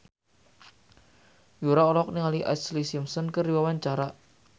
Yura olohok ningali Ashlee Simpson keur diwawancara